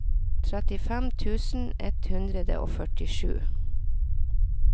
trettifem tusen ett hundre og førtisju